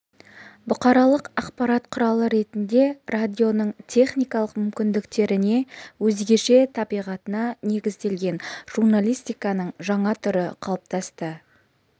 бұқаралық ақпарат құралы ретінде радионың техникалық мүмкіндіктеріне өзгеше табиғатына негізделген журналистиканың жаңа түрі қалыптасты